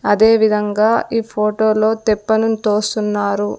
అదేవిధంగా ఈ ఫోటో లో తెప్పను తోస్తున్నారు.